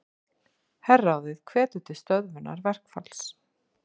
Herráðið hvetur til stöðvunar verkfalls